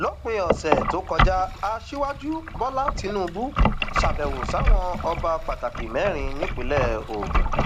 lópin ọsẹ tó kọjá aṣíwájú bọlá tìǹbù ṣàbẹwò sáwọn ọba pàtàkì mẹrin nípínlẹ ogun